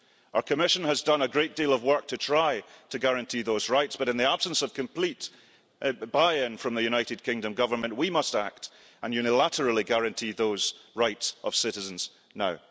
Our Commission has done a great deal of work to try to guarantee those rights but, in the absence of complete buy in from the United Kingdom government, we must act and unilaterally guarantee those citizens' rights now.